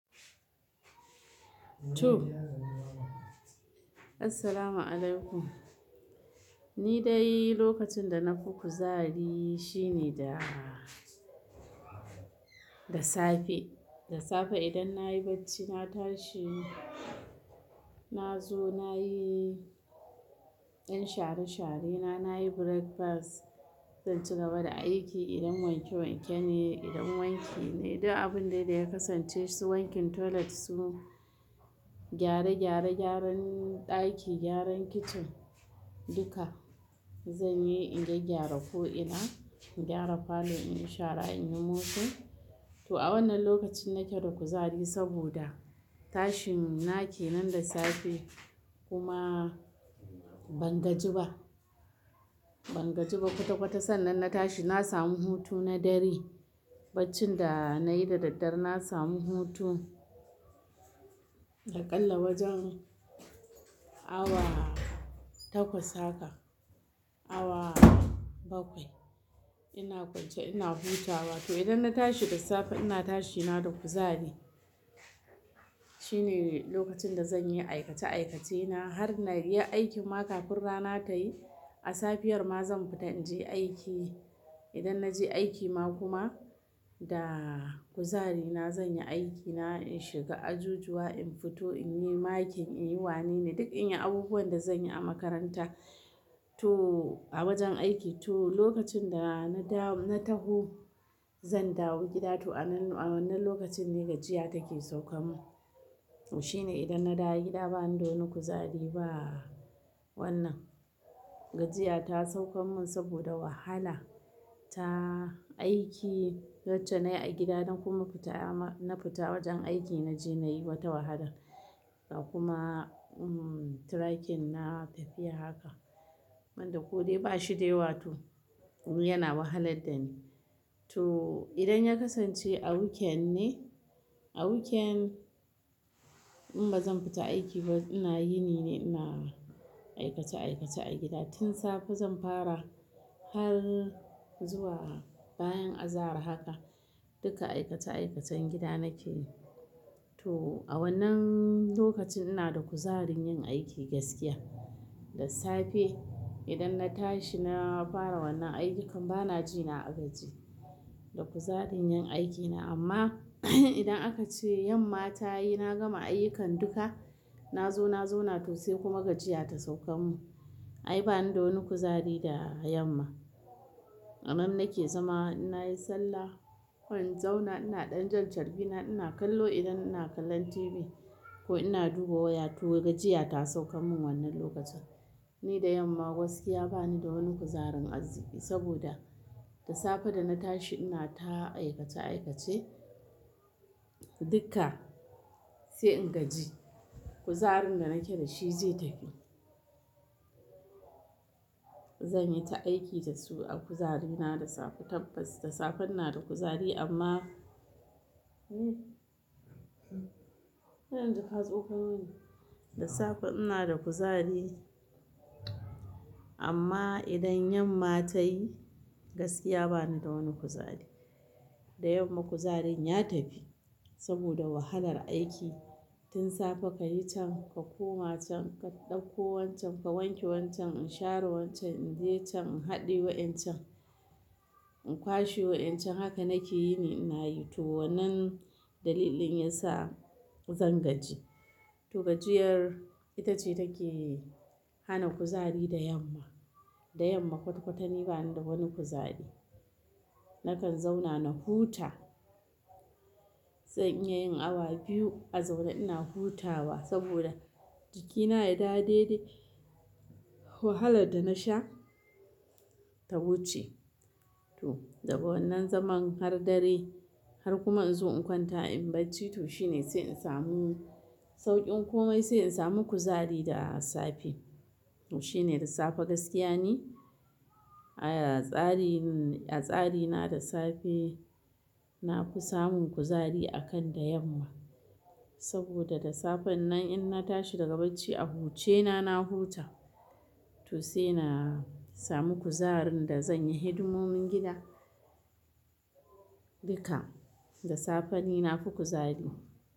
To. Assalamualaikum. Ni dai lokacin da na fi kuzari shine da, da safe. Da safe idan na yi barci na tashi, na zo na yi 'yan share-sharena, na yi breakfast, zan ci gaba da aiki. Idan wanke-wanke ne, idan wanki ne, duk abun da ya kasance su wankin toilet su, gyare-gyare, gyaran ɗaki, gyaran kitchen duka zan yi. In gyaggyara ko ina, in gyara parlour, in yi shara, in yi mopin. To a wannan lokacin nake da kuzari saboda tashin na ke nan da safe kuma ban gaji ba. Ban gaji ba kwata-kwata sannan na tashi na samu hutu na dare. Barcin da na yi da daddare na samu hutu, aƙalla wajen awa takwas haka, awa bakwai ina kwance ina hutawa. To idan na tashi da safe ina tashi na da kuzari. Shine lokacin da zan yi aikace-aikace na har na ri ya aikin ma kafin rana ta yi. A safiyar ma zan fita in je aiki. Idan na je aiki ma kuma da kuzari na zan yi aikina, in shiga ajujuwa, in fito, in yi makin, in yi wane ne, duk in yi abubuwan da zan yi a makaranta to a wajen aiki. To lokacin da na da-- na dawo na taho zan dawo gida to a wannan lokacin ne gajiya take saukan mu. Shine idan na dawo gida bani da wani kuzari ba. Wannan gajiya ta saukan man saboda wahala ta aiki wacce na yi a gida na kuma fita na fita wajen aiki na je na yi wata wahala. Da kuma um, tirakin na tafiya haka. Inda ko dai ba shi dai ba to yana wahalar da ni. To idan ya kasance a weekend ne, a weekend in ba zan fita aiki ba. Ina yini ne, ina aikace-aikace a gida. Tin safe zan fara har zuwa bayan azahar haka duka aikace-aikacen gida nake yi. To a wannan lokacin ina da kuzarin yin aiki gaskiya. Da safe idan na tashi na fara wannan ayyukan bana ji na gaji. Da kuzarin yin aikina amma idan aka ce yamma ta yi na gama ayyukan duka, na zo na zauna to sai kuma gajiya ta saukan man. Ai bani da wani kuzari da yamma. Annan nake zama ina yi sallah, in zauna ina ɗan jan charbi na, ina kallo idan ina kallon TV ko ina duba waya. To gajiya ta sauka min wannan lokacin. Ni da yamma gaskiya bani da wani kuzarin arziki saboda da safe da na tashi ina ta aikace-aikace duka sai in gaji. Kuzarin da nake da shi zai tafi. Zan yi ta aiki da su a kuzari na da safe tabbas. Da safe ina da kuzari amma Da safe ina da kuzari amma idan yamma ta yi gaskiya bani da wani kuzari. Da yamma kuzarin ya tafi saboda wahalar aiki. Tin safe ka yi can, ka koma can, ka ɗauko wancan, ka wanke wancan, in share wancan, in je can in haɗiye wa'incan, in kwashe wa'incan haka nake yini ina yi. To wannan dalilin yasa zan gaji. To gajiyar ita ce take hana kuzari da yamma. Da yamma kwata-kwata ni bani da wani kuzari. Nakan zauna na huta. Zan iya yin awa biyu a zaune ina hutawa saboda jikina ya dawo dai dai wahalar da na sha ta wuce. To daga wannan zaman har dare har kuma in zo in kwanta in barci to shine sai in samu sauƙin komai sai in samu kuzari da safe. Shine da safe gaskiya ni. A tsarin, a tsari na da safe na fi samun kuzari akan da yamma saboda da safe nan in na tashi daga barci a huce na, na huta to sai na samu kuzarin da zan yi hidimomin gida duka. Da safe ni na fi kuzari.